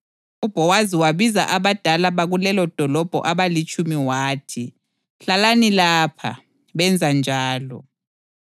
UBhowazi wabiza abadala bakulelodolobho abalitshumi wathi, “Hlalani lapha,” benza njalo.